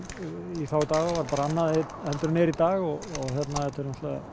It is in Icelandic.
í þá daga var bara annað heldur en í dag og þetta eru